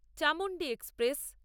Chamundi express